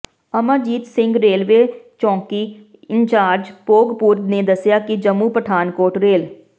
Amarjit Singh railway ਚੌਾਕੀ in charge Bhogpur ਨੇ ਦੱਸਿਆ ਕਿ ਜੰਮੂ ਪਠਾਨਕੋਟ ਰੇਲ